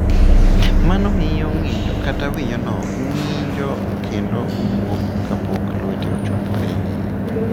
Mano miyo ng’injo kata winyono ng’injo kendo wuok kapok lweti ochopo e iye.